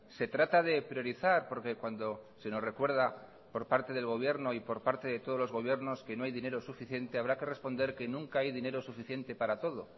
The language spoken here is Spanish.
se trata de priorizar porque cuando se nos recuerda por parte del gobierno y por parte de todos los gobiernos que no hay dinero suficiente habrá que responder que nunca hay dinero suficiente para todo